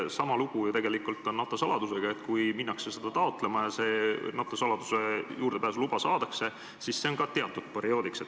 Sama lugu on tegelikult NATO saladusega – kui minnakse seda taotlema ja saladusele juurdepääsu luba saadakse, siis on see ka ainult teatud perioodiks.